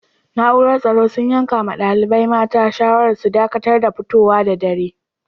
Naúrar tsoro sun yanka ma dalibain mata shawara su dakatar da fitowa da dare.